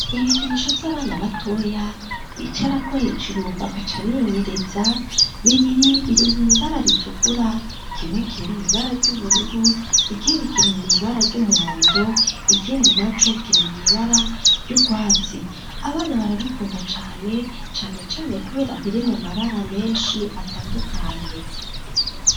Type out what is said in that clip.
Ibikinisho by'abana batoya bicara ko hejuru bakaca binyeretsa bibiri biri mu ibara ritukura kimwe kiri mw ibara ryubururu ikindi kiri mw'ibara ry'umuhondo ikindi na co kiri mwibara ry'ubwatsi abana barabikunda cane cane cane kubera biri mu mabara menshi atandukanye.